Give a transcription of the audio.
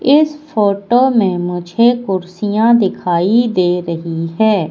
इस फोटो में मुझे कुर्सियाँ दिखाई दे रहीं हैं।